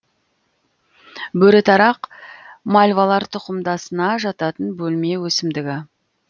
бөрітарақ мальвалар тұқымдасына жататын бөлме өсімдігі